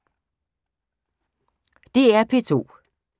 DR P2